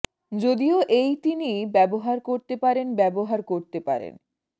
যদিও এই তিনি ব্যবহার করতে পারেন ব্যবহার করতে পারেন